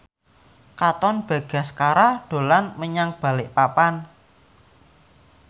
Katon Bagaskara dolan menyang Balikpapan